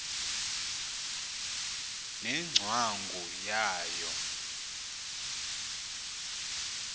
ne ngcwangu yayo